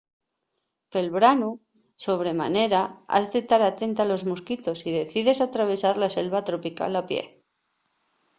pel branu sobre manera has de tar atenta a los mosquitos si decides atravesar la selva tropical a pie